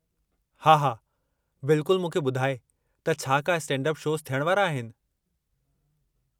हा हा बिल्कुलु मूंखे ॿुधाइ त छा का स्टैंड-अप शोज़ थियण वारा आहिनि।